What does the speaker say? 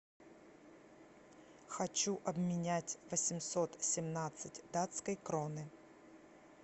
хочу обменять восемьсот семнадцать датской кроны